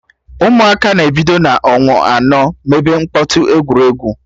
Ụmụaka na-ebido n'ọnwa anọ mebe mkpọtụ egwuregwu